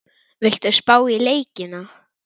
Viltu spá í leikina?